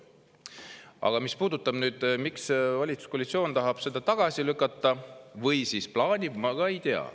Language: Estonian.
Aga mis puudutab seda, miks valitsuskoalitsioon tahab või plaanib seda tagasi lükata – ma ei tea.